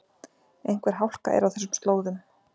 Einhver hálka er á þessum slóðum